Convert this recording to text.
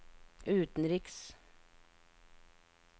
utenriks